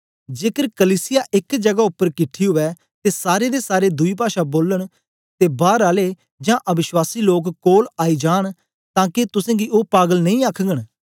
जेकर कलीसिया एक जगा उपर किट्ठी उवै ते सारें दे सारे दुई पाषा बोलन ते बार आले जां अवश्वासी लोक कोल आई जांन तां के तुसेंगी ओ पागल नेई आखघन